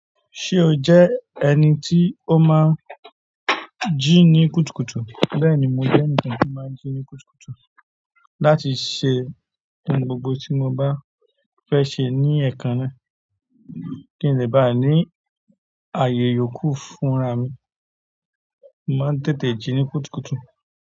Ṣé o jẹ́ ẹni tí ó máa ń jí ní kùtùkùtù? Bẹ́ẹ̀ni, mo jẹ́ ènìkàn tí máa ń jí ní kùtùkùtù láti ṣe ohun gbogbo tí mo bá fẹ́ ṣe ní ẹ̀ẹ̀kan náà. Kí n lè bá ní ààyè iyòókù fúnra mi, mo máa ń tètè jí ní kùtùkùtù.